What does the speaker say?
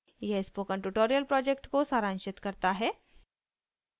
यह spoken tutorial project को सारांशित करता है